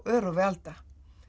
örófi alda